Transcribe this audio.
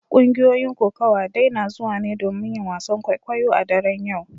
Kungiyoyin kokawa dai na zuwa ne domin yin wasan kwaikwayo a daren yau.